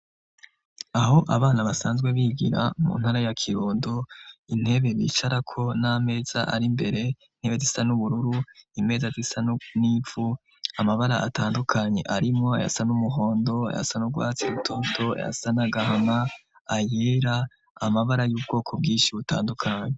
Aho abana basanzwe bigira mu ntara ya Kirundo, intebe bicarako n'amameza ari imbere, intebe zisa n'ubururu, imeza zisa n'ivu, amabara atandukanye arimwo ayasa n'umuhondo, ayasa n'urwatsi rutoto, ayasa n'agahama, ayera, amabara y'ubwoko bwinshi butandukanye.